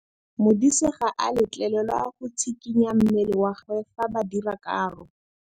Modise ga a letlelelwa go tshikinya mmele wa gagwe fa ba dira karô.